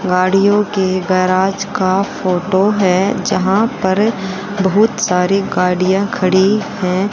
गाड़ियों के गैराज का फोटो है जहां पर बहुत सारी गाड़ियां खड़ी है।